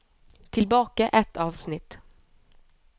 Tilbake ett avsnitt